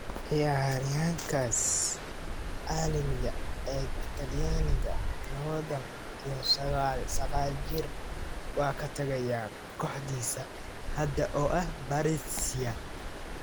Ciyaaryahankaas caalamiga ee Talyaaniga, lawatan iyo saqal jir, waa ka tagaya kooxdiisa hadda oo ah Brescia.